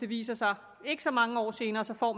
viser sig ikke så mange år senere så får